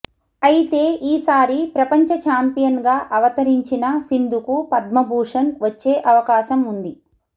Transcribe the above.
అయితే ఈ సారి ప్రపంచ చాంపియన్ గా అవతిరించిన సింధుకు పద్మభూషన్ వచ్చే అవకాశం ఉంది